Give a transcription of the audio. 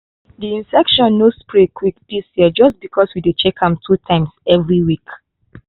di infection no spread quick dis year just because we dey check am two times every week.